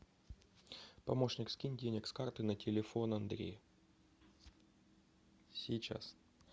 помощник скинь денег с карты на телефон андрея сейчас